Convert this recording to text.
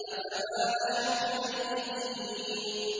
أَفَمَا نَحْنُ بِمَيِّتِينَ